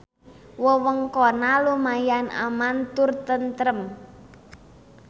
Wewengkonna lumayan aman tur tentrem.